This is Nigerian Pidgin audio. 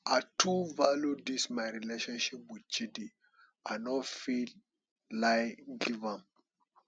i too value dis my relationship with chidi i no fit lie give am